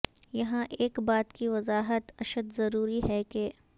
یہاں ایک بات کی وضاحت اشد ضروری ہے کہ